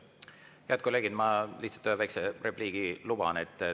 Head kolleegid, ma lihtsalt ühe väikese repliigi luban endale.